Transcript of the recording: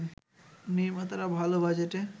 নির্মাতারা ভালো বাজেটে